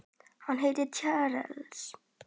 Hann heitir Charles